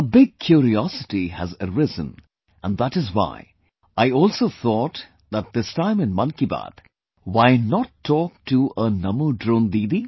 A big curiosity has arisen and that is why, I also thought that this time in 'Mann Ki Baat', why not talk to a NaMo Drone Didi